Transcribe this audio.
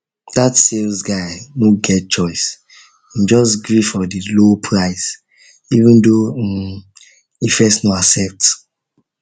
that sales guy no get choice him just gree for the low price even though um e first no accept